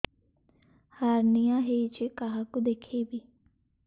hernia ହୋଇଛି କାହାକୁ ଦେଖେଇବି